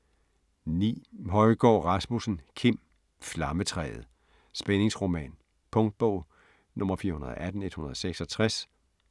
9. Højgaard Rasmussen, Kim: Flammetræet: spændingsroman Punktbog 418166